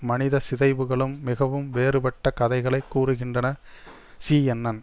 மனித சிதைவுகளும் மிகவும் வேறுபட்ட கதைகளை கூறுகின்றன சீஎன்என்